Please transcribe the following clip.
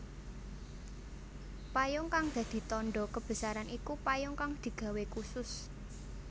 Payung kang dadi tandha kebesaran iku payung kang digawé khusus